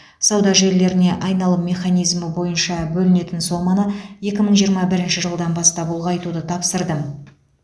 сауда желілеріне айналым механизмі бойынша бөлінетін соманы екі мың жиырма бірінші жылдан бастап ұлғайтуды тапсырдым